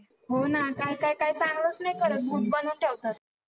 हो ना काय काय काय चांगलंच नाही करत, भूत बनवून ठेवतात.